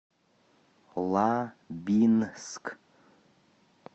лабинск